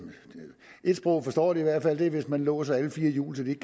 et sprog forstår de i hvert fald for hvis man låser alle fire hjul så de ikke